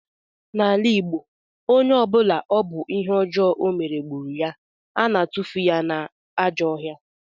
N'ala Igbo, onye ọ bụla ọ bụ ihe ọjọọ ọ mere gburu ya, a na-atufu ya n'ajọ ọhịa